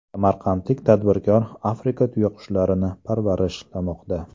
Samarqandlik tadbirkor Afrika tuyaqushlarini parvarishlamoqda.